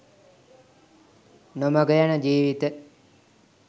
නොමඟ යන ජීවිත